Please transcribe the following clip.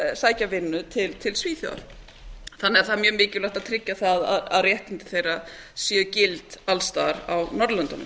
vinnu til svíþjóðar þannig að það er mjög mikilvægt að tryggja það að réttindi þeirra séu gild alls staðar á norðurlöndunum